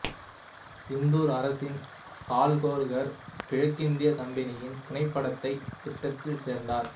இந்தூர் அரசின் ஹோல்கர் கிழக்கிந்திய கம்பெனியின் துணைப்படைத் திட்டத்தில் சேர்ந்தார்